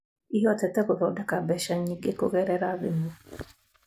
ĩhotete gũthodeka mbeca nyingĩ kũgerera thimũ